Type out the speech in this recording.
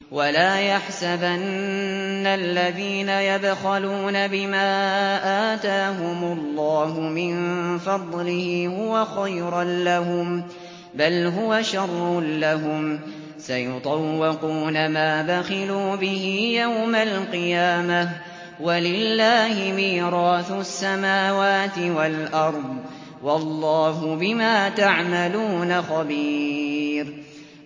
وَلَا يَحْسَبَنَّ الَّذِينَ يَبْخَلُونَ بِمَا آتَاهُمُ اللَّهُ مِن فَضْلِهِ هُوَ خَيْرًا لَّهُم ۖ بَلْ هُوَ شَرٌّ لَّهُمْ ۖ سَيُطَوَّقُونَ مَا بَخِلُوا بِهِ يَوْمَ الْقِيَامَةِ ۗ وَلِلَّهِ مِيرَاثُ السَّمَاوَاتِ وَالْأَرْضِ ۗ وَاللَّهُ بِمَا تَعْمَلُونَ خَبِيرٌ